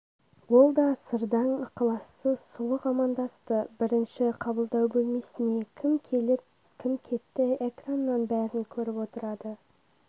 ол да сырдаң ықылассыз сұлық амандасты бірінші қабылдау бөлмесіне кім келіп-кім кетті экраннан бәрін көріп отырады